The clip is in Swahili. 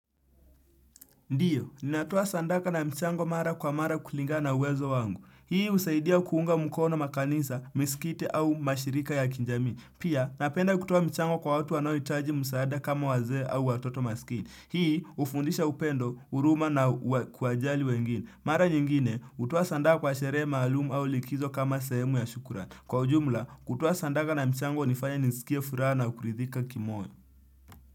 Ndiyo, ninatoa sandaka na mchango mara kwa mara kulingana na uwezo wangu. Hii husaidia kuunga mkono makanisa, misikiti au mashirika ya kijamii. Pia, napenda kutoa michango kwa watu wanohitaji msaada kama wazee au watoto masikini. Hii hufundisha upendo, huruma na kuwajali wengine. Mara nyingine, hutoa sadaka kwa sherehe maalum au likizo kama sehemu ya shukran. Kwa ujumla, kutoa sandaka na mchango hunifanya niskie furaha na kuridhika kimoyo.